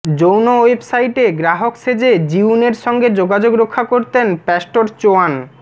যৌন ওয়েবসাইটে গ্রাহক সেজে জিউনের সঙ্গে যোগাযোগ রক্ষা করতেন প্যাস্টর চোয়ান